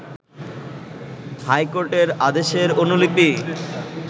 হাইকোর্টের আদেশের অনুলিপি